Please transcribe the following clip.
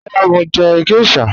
Rárá, mo ń jẹ̀ gẹ̀ṣhà.